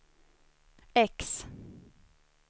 X